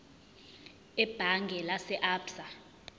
ebhange lase absa